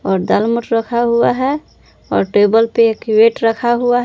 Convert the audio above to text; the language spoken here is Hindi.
और दालमोट रखा हुआ है और टेबल पे एक वेट रखा हुआ --